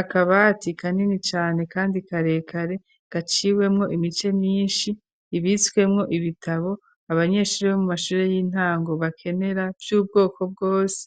akabati kanini cane kandi kare kare gaciwemwo imice myinshi ibitswemwo ibitabo abanyeshuri bo mu mashure y'intango bakenera vy'ubwoko bwose